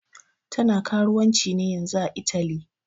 Tana karuwanci ne yanzun ã Italy.